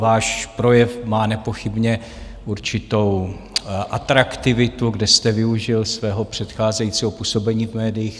Váš projev má nepochybně určitou atraktivitu, kde jste využil svého předcházejícího působení v médiích.